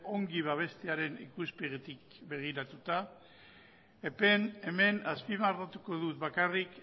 ongi babestearen ikuspegitik begiratuta hemen azpimarratuko dut bakarrik